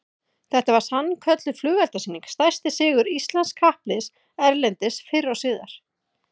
Þetta var sannkölluð flugeldasýning, stærsti sigur íslensks kappliðs erlendis fyrr og síðar